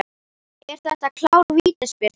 Er þetta klár vítaspyrna?